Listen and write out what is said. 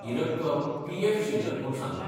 ही रक्कम पी.एफ. शिल्लक म्हूण सांगलां.